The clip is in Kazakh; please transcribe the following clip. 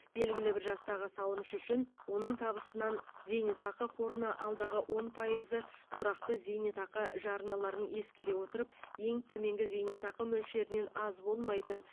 белгілі бір жастағы салымшы үшін оның табысынан зейнетақы қорына алдағы он пайызы тұрақты зейнетақы жарналарын ескере отырып ең төменгі зейнетақы мөлшерінен аз болмайтын